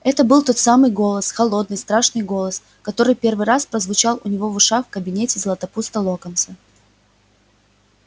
это был тот самый голос холодный страшный голос который первый раз прозвучал у него в ушах в кабинете златопуста локонса